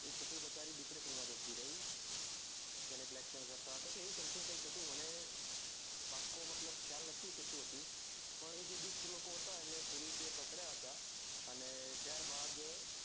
એ છોકરી બચારી depression માં જતી રઈ એને blackmail કરતા હતા કે એવું something કૈક હતું કે મને પાકકકો ખ્યાલ નથી કે સુ હતું પણ એ દુષ્ટ લોકો હતા એમને police એ પકડ્યા હતા અને ત્યાર બાદ